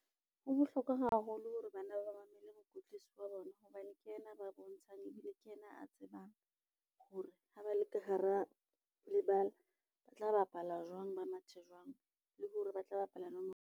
Ho bohlokwa haholo hore bana ba mamele mokwetlisi wa bona hobane ke yena a ba bontshang ebile ke yena a tsebang, hore ha ba le ka hara lebala ba tla bapala jwang, ba mathe jwang, le hore ba tla bapala nomoro.